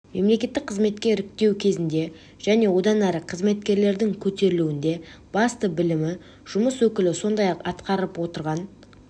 мемлекеттік қызметке іріктеу кезінде және одан әрі қызметкерлердің көтерілуінде басты білімі жұмыс өкілі сондай-ақ атқарып отырған